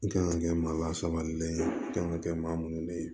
I kan ka kɛ maa lasabalilen ye i kan ka kɛ maa munnu de ye